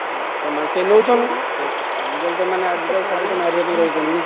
ବାସ ସେମାନେ ନଉଛନ୍ତି, ସେ ସେ ଆଜି କାଲି ତ ମାନେ ଆଜିକାଲି ସମସ୍ତଙ୍କୁ ମାରିବା ପାଇଁ ରହିଛନ୍ତି।